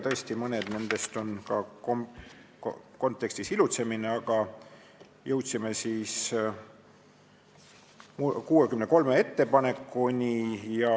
Tõesti, mõned nendest on ka lihtsalt kontekstis ilutsemine, aga me jõudsime kokku 63 ettepanekuni.